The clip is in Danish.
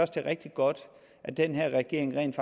det er rigtigt godt at den her regering rent